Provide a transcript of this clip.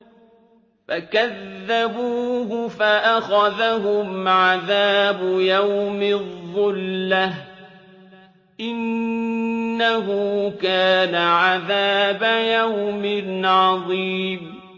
فَكَذَّبُوهُ فَأَخَذَهُمْ عَذَابُ يَوْمِ الظُّلَّةِ ۚ إِنَّهُ كَانَ عَذَابَ يَوْمٍ عَظِيمٍ